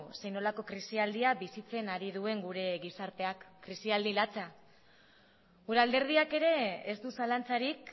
zer nolako krisialdia bizitzen ari duen gure gizarteak krisialdi latza gure alderdiak ere ez du zalantzarik